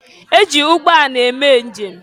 E ji ụgbọala eme njem.